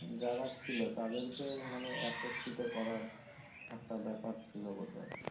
যারা ছিলো তাদেরকে মানেএকত্রিত করার একটা ব্যাপার ছিলো বোধ হয়